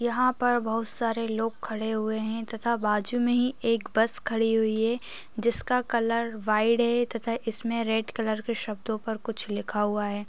यहां पर बहुत सारे लोग खड़े हुए है तथा बाजू मे ही एक बस खड़ी हुई है जिसका कलर वाइट है तथा इस मे रेड़ कलर के शब्दों पर कुछ लिखा हुआ है।